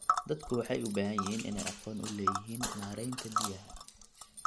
Dadku waxay u baahan yihiin inay aqoon u leeyihiin maareynta biyaha.